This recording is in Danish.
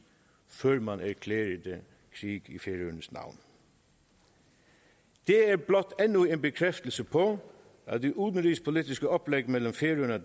før man erklærede krig i færøernes navn det er blot endnu en bekræftelse på at det udenrigspolitiske oplæg mellem færøerne